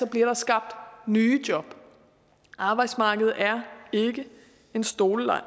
bliver der skabt nye job arbejdsmarkedet er ikke en stoleleg